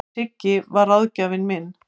Siggi var ráðgjafinn minn.